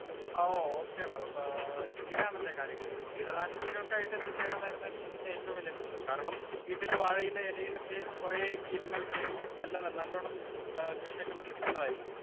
Speaker 1 ആ ഓ ഒകെടാ ആ ഇങ്ങനെ ആണല്ലേ കാര്യങ്ങള്. കീടനാശിനികൾക്കായിട്ട് എന്തു ചെയ്യണമെന്നായിരുന്നു എന്റെ ഏറ്റവും വലിയ പ്രെശ്നം. കാരണം വീട്ടിലെ വാഴയിലെ ഇലയിലൊക്കെ കുറെ കീടങ്ങൾ കേറി നല്ല നല്ലോണം ആ കൃഷിയൊക്കെ നശിപ്പിക്കുന്നയായിരുന്നു .